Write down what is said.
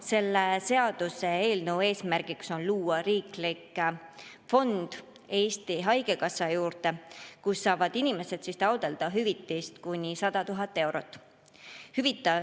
Selle seaduseelnõu eesmärk on luua riiklik fond Eesti Haigekassa juurde, kust inimesed saavad taotleda hüvitist kuni 100 000 eurot.